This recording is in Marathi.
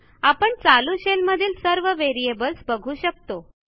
आपण चालू शेल मधील सर्वVariables बघू शकतो